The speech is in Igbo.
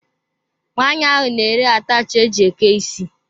Nwanyi ahụ na ere ataachi e jị eke isi.